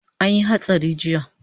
Anyi hatsari jiya